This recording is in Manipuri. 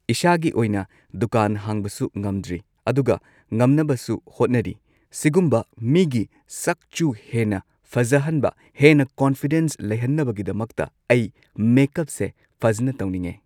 ꯏꯁꯥꯒꯤ ꯑꯣꯏꯅ ꯗꯨꯀꯥꯟ ꯍꯥꯡꯕꯁꯨ ꯉꯝꯗ꯭ꯔꯤ ꯑꯗꯨꯒ ꯉꯝꯅꯕꯁꯨ ꯍꯣꯠꯅꯔꯤ ꯁꯤꯒꯨꯝꯕ ꯃꯤꯒꯤ ꯁꯛꯆꯨ ꯍꯦꯟꯅ ꯐꯖꯍꯟꯕ ꯍꯦꯟꯅ ꯀꯣꯟꯐꯤꯗꯦꯟꯁ ꯂꯩꯍꯟꯅꯕꯒꯤꯗꯃꯛꯇ ꯑꯩ ꯃꯦꯀꯞꯁꯦ ꯐꯖꯅ ꯇꯧꯅꯤꯡꯉꯦ